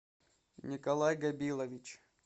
николай габилович